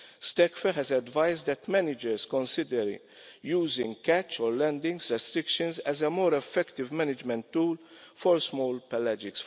STECF has advised that managers consider using catch or landing restrictions as a more effective management tool for small pelagic.